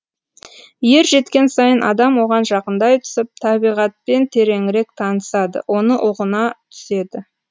ер жеткен сайын адам оған жақындай түсіп табиғатпен тереңірек танысады оны ұғына түседі